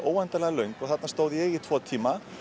óendanlega löng þarna stóð ég í tvo tíma